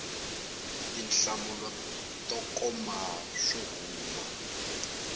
tinhlamulo to koma swo huma